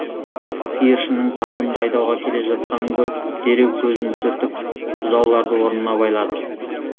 сиыршының табынды айдауға келе жатқанын көріп дереу көзін сүртіп бұзауларды орнына байлады